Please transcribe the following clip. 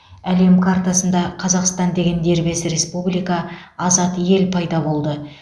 әлем қартасында қазақстан деген дербес республика азат ел пайда болды